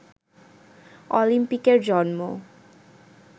অলিম্পিকের জন্ম